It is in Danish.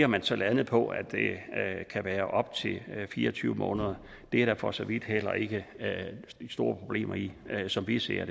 man så landet på at det kan være op til fire og tyve måneder det er der for så vidt heller ikke de store problemer i som vi ser